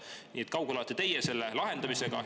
Nii et kui kaugel olete teie selle lahendamisega?